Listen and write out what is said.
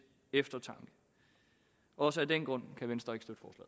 eftertanke også af den grund kan venstre